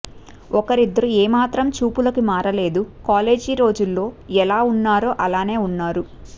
ఒకరిద్దరు ఏ మాత్రం చూపులకి మార లేదు కాలేజీ రోజుల్లో యెలా ఉన్నారో అలాగే ఉన్నారు